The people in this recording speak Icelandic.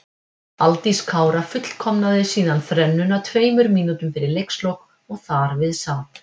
Aldís Kara fullkomnaði síðan þrennuna tveimur mínútum fyrir leikslok og þar við sat.